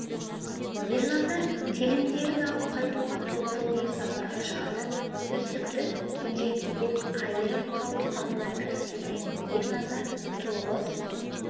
ерназар келіндерін алып қайтуға тоғыз ұлымен сапарға шығады төстікті кенжекейден айырып қалу қамына кіріседі ерназар тоғыз